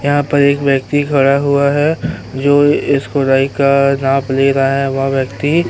यहाँ पर एक व्यक्ति खड़ा हुआ है जो इस क़ुराई का नाप ले रहा है। वह व्यक्ति --